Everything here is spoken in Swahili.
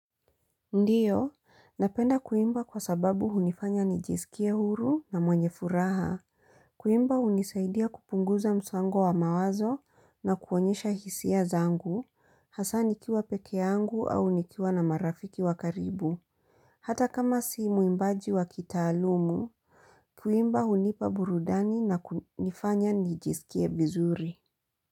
Ndio, napenda kuimba kwa sababu hunifanya nijisikie huru na mwenye furaha. Kuimba unisaidia kupunguza msango wa mawazo na kuonyesha hisia zangu, hasa nikiwa peke yangu au nikiwa na marafiki wa karibu. Hata kama si mwimbaji wa kitaalumu, kuimba hunipa burudani na kunifanya nijisikie vizuri.